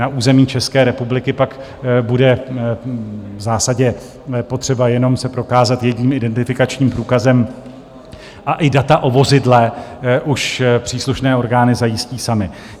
Na území České republiky pak bude v zásadě potřeba jenom se prokázat jedním identifikačním průkazem a i data o vozidle už příslušné orgány zajistí samy.